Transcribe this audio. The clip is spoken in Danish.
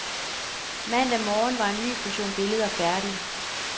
Mandag morgen var en ny portion billeder færdige.